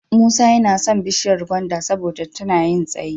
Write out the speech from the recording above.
Musa yana son bishiyar gwanda saboda tana yin tsayi.